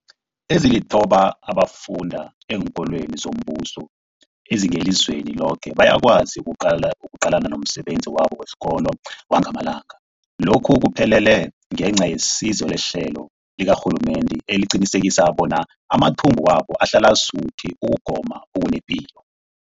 Ezilithoba abafunda eenkolweni zombuso ezingelizweni loke bayakwazi ukuqalana nomsebenzi wabo wesikolo wangamalanga. Lokhu kuphumelele ngenca yesizo lehlelo likarhulumende eliqinisekisa bona amathumbu wabo ahlala asuthi ukugoma okunepilo.